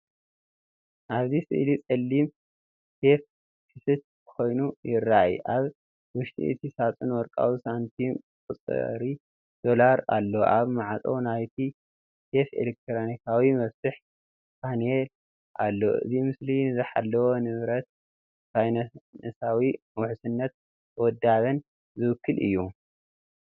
ኣብዚ ስእሊ ጸሊም ሴፍ ክፉት ኮይኑ ይራኣይ። ኣብ ውሽጢ እቲ ሳጹን ወርቃዊ ሳንቲምን ቁጽሪ ዶላርን ኣሎ። ኣብ ማዕጾ ናይቲ ሴፍ ኤሌክትሮኒካዊ መፍትሕ ፓነል ኣሎ። እዚ ምስሊ ንዝተሓለወ ንብረት፡ ፋይናንሳዊ ውሕስነትን ውዳበን ዝውክል እዩ።